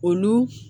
Olu